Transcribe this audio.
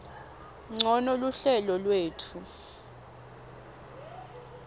ncono luhlelo lwetfu